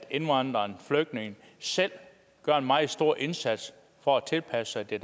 indvandreren og flygtningen selv gør en meget stor indsats for at tilpasse sig det